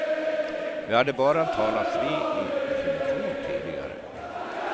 Vi hade bara talats vid i telefon tidigare.